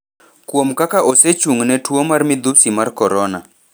kuom kaka osechung' ne tuwo mar midhusi mar Corona,